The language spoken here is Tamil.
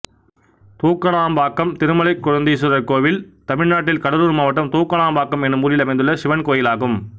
தூக்கணாம்பாக்கம் திருமலைகொழுந்தீஸ்வரர் கோயில் தமிழ்நாட்டில் கடலூர் மாவட்டம் தூக்கணாம்பாக்கம் என்னும் ஊரில் அமைந்துள்ள சிவன் கோயிலாகும்